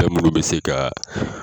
Fɛn minnu bɛ se ka